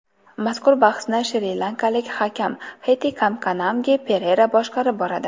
Mazkur bahsni shri-lankalik hakam Hettikamkanamge Perera boshqarib boradi.